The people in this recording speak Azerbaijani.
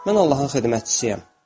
Mən Allahın xidmətçisiyəm.